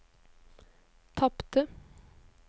tapte